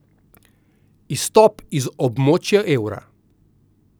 Izstop iz območja evra.